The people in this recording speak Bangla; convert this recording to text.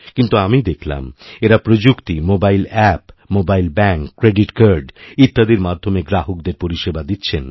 কিন্তু আমি দেখলাম এঁরা প্রযুক্তি mobile app mobile bank credit card ইত্যাদির মাধ্যমে গ্রাহকদের পরিষেবাদিচ্ছেন